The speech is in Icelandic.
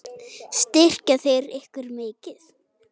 Styrkja þeir ykkur mikið?